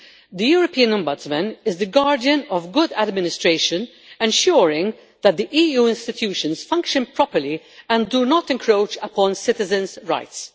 The European Ombudsman is the guardian of good administration, ensuring that the EU institutions function properly and do not encroach upon citizens' rights.